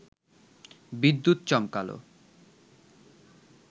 বিদ্যুৎ চমকাল